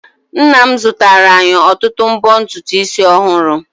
Nna m zụtara anyị ọtụtụ mbo ntutu isi ọhụrụ.